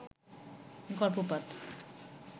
গর্ভপাত